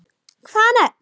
Hvaða nöfn?